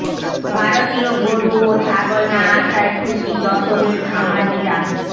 ভারতীয় গরু ও ছাগল না আসায় খুশি যশোরের খামারিরা